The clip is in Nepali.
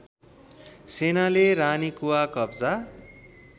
सेनाले रानीकुवा कब्जा